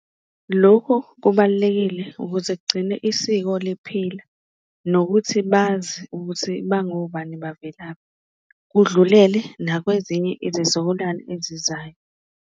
Lokhu kubalulekile ukuze kugcine isiko liphila nokuthi bazi ukuthi bangobani, bavelaphi kudlulele nakwezinye izizukulwane ezizayo.